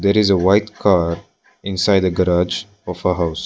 There is a white car inside a garage of a house.